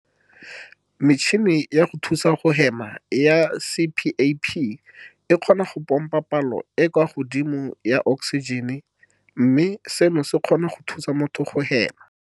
Metšhini ya go thusa go hema ya CPAP e kgona go pompa palo e e kwa godimo ya oksijene, mme seno se kgona go thusa motho go hema.